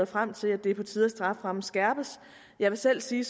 frem til at det er på tide at strafferammen skærpes jeg vil selv sige